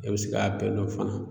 E be se k'a bɛɛ lɔn fana